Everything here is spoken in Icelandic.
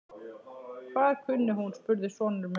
Hvað kunni hún? spurði sonur minn.